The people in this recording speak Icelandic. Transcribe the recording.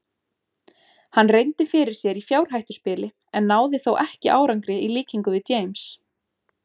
Hann reyndi fyrir sér í fjárhættuspili en náði þó ekki árangri í líkingu við James.